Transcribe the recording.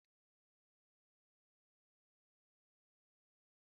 Instant Nụ́dúls bụ nri na-enweghị ụtọ